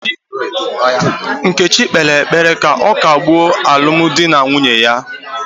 Nkechi kpere ekpere ka ọ kagbuo alụmdi na nwunye ya